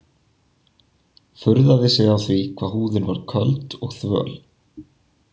Furðaði sig á því hvað húðin var köld og þvöl.